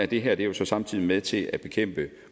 det her er jo så samtidig med til at bekæmpe